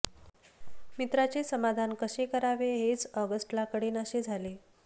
मित्राचे समाधान कसे करावे हेच ऑगस्टला कळेनासे झाले